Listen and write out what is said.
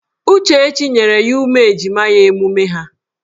Uchechi nyere ya ụmụ ejima ya emume ha.